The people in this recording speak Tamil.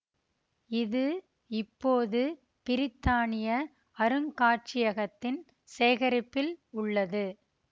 இது இப்போது பிரித்தானிய அருங்காட்சியகத்தின் சேகரிப்பில் உள்ளது